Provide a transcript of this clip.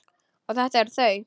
Og þetta eru þau.